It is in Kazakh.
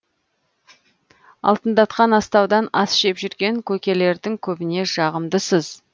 алтындатқан астаудан ас жеп жүрген көкелердің көбіне жағымдысыз